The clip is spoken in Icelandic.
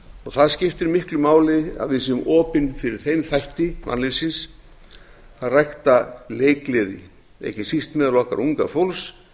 það skiptir miklu máli að við séum opin fyrir þeim þætti mannlífsins að rækta leikgleði ekki síst meðal okkar unga fólks